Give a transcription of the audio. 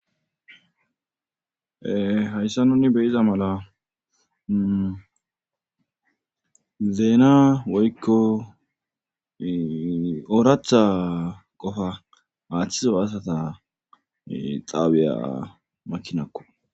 Hayssa nuni beyiza mala zeena woykko ooratha qofa aaththizo haasata xaabiya makinakko.